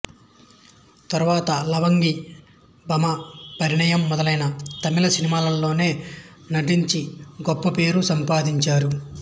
తర్వాత లవంగి భామా పరిణయం మొదలైన తమిళ సినిమాలలోనూ నటించి గొప్ప పేరు సంపాదించారు